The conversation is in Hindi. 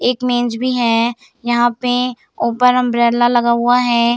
एक मेज भी है यहाँ पे ऊपर अंब्रेला लगा हुआ है।